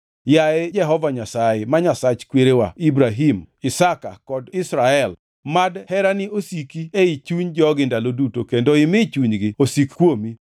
Yaye Jehova Nyasaye, ma Nyasach kwerewa Ibrahim, Isaka kod Israel, mad herani osiki ei chuny jogi ndalo duto kendo imi chunygi osik kuomi.